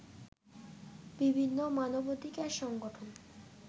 বিভিন্ন মানবাধিকার সংগঠন